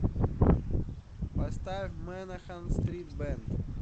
поставь мэнахан стрит бэнд